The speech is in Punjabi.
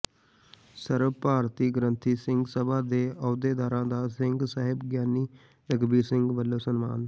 ਸਰਬ ਭਾਰਤੀ ਗ੍ਰੰਥੀ ਸਿੰਘ ਸਭਾ ਦੇ ਅਹੁਦੇਦਾਰਾਂ ਦਾ ਸਿੰਘ ਸਾਹਿਬ ਗਿਆਨੀ ਰਘਬੀਰ ਸਿੰਘ ਵੱਲੋਂ ਸਨਮਾਨ